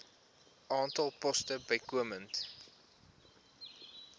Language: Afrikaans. aantal poste bykomend